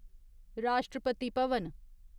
Rashtrapati Bhavan